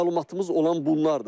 Məlumatımız olan bunlardır.